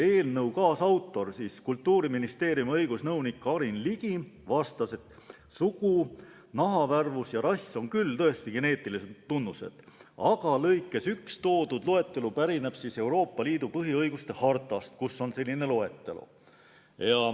Eelnõu kaasautor, Kultuuriministeeriumi õigusnõunik Karin Ligi vastas, et sugu, nahavärvus ja rass on tõesti geneetilised tunnused, aga lõikes 1 esitatud loetelu pärineb Euroopa Liidu põhiõiguste hartast, kus on samuti selline loetelu.